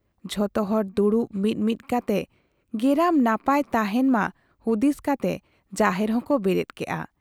ᱡᱷᱚᱛᱚ ᱦᱚᱲ ᱫᱩᱲᱩᱵ ᱢᱤᱫ ᱢᱤᱫ ᱠᱟᱛᱮ ᱜᱮᱨᱟᱢ ᱱᱟᱯᱟᱭ ᱛᱟᱦᱮᱸᱱ ᱢᱟ ᱦᱩᱫᱤᱥ ᱠᱟᱛᱮ ᱡᱟᱦᱮᱨ ᱦᱚᱸ ᱠᱚ ᱵᱮᱨᱮᱫ ᱠᱮᱜ ᱟ ᱾